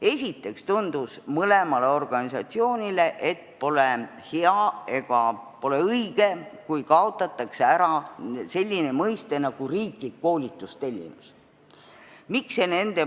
Esiteks tundus mõlemale organisatsioonile, et pole hea ega pole õige, kui kaotatakse ära riikliku koolitustellimuse mõiste.